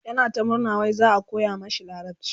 yana ta murna wai za'a koya mashi larabci